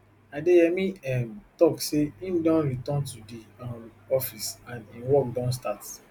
adeyemi um tok say im don return to di um office and im work don start